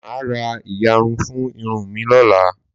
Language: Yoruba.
Máà ra ìyarun fún irun mí lọ́la.